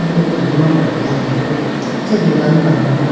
bo ando ma petegalayibo acha dukan bahar ma.